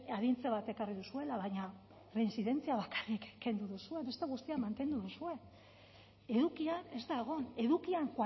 arintze bat ekarri duzuela baina reintzidentzia bakarrik kendu duzue beste guztiak mantendu duzue edukia ez da egon edukian